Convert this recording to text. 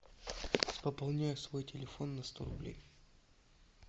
пополняю свой телефон на сто рублей